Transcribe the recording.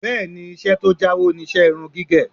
Bẹ́ẹ̀ni, iṣẹ́ tó jáwó ni iṣẹ́ irun gígẹ̀